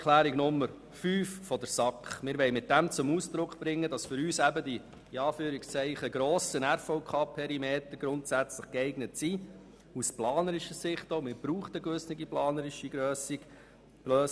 Zu Planungserklärung 5 der SAK: Damit wollen wir zum Ausdruck bringen, dass für uns die grossen RVK-Perimeter grundsätzlich geeignet sind, auch aus planerischer Sicht, weil es eine gewisse planerische Grösse braucht.